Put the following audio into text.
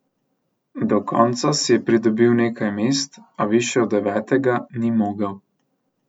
Do konca je pridobil nekaj mest, a višje od devetega ni mogel.